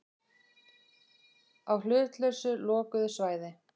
Á hlutlausu lokuðu svæði.